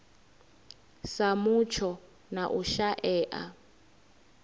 sa mutsho na u shaea